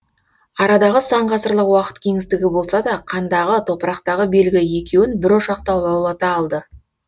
арадағы сан ғасырлық уақыт кеңістігі болса да қандағы топырақтағы белгі екеуін бір ошақта лаулата алды